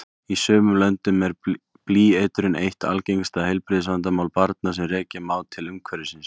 Í sumum löndum er blýeitrun eitt algengasta heilbrigðisvandamál barna sem rekja má til umhverfisins.